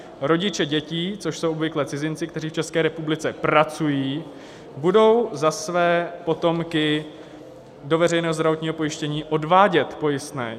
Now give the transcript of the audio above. Rodiče dětí, což jsou obvykle cizinci, kteří v České republice pracují, budou za své potomky do veřejného zdravotního pojištění odvádět pojistné.